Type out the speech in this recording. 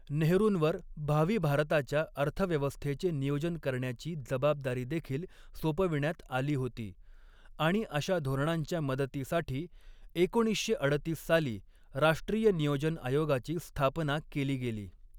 नेहरूंवर भावी भारताच्या अर्थव्यवस्थेचे नियोजन करण्याची जबाबदारी देखील सोपविण्यात आली होती आणि अशा धोरणांच्या मदतीसाठी एकोणीसशे अडतीस साली राष्ट्रीय नियोजन आयोगाची स्थापना केली गेली.